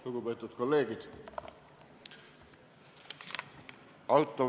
Lugupeetud kolleegid!